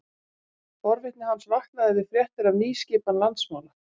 Forvitni hans vaknaði við fréttir af nýskipan landsmála.